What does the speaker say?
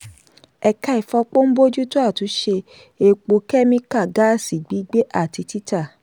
ẹ̀ka ìfọpo ń bójútó àtúnṣe epo kẹ́míkà gáàsì gbígbé àti títà.